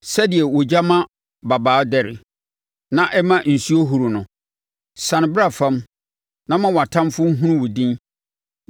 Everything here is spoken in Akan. Sɛdeɛ ogya ma mmabaa dɛre na ɛma nsuo huru no, siane bra fam na ma wʼatamfoɔ nhunu wo din na ma amanaman no ho mpopo wɔ wʼanim!